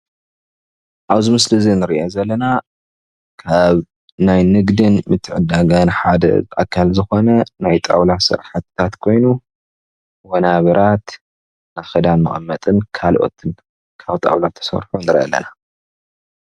ኣብዚ ምስሊ እዚ እንሪኦም ዘለና ካብ ናይ ንግድን ምትዕድዳግን ሓደ ኣካል ዝኾነ ናይ ጣዉላ ስራሕትታት ኮይኑ ወናብራት ንኽዳን መቐመጥን ካልኦትን ካብ ጣዉላ ዝተሰርሑ ንርኢ ኣለና።